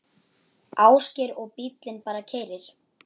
Ásgeir: Og bíllinn bara keyrir?